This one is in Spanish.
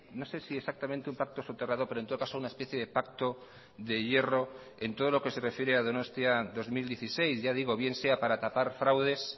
no sé si exactamente un pacto soterrado pero en todo caso una especie de pacto de hierro en todo lo que se refiere a donostia dos mil dieciséis ya digo bien sea para tapar fraudes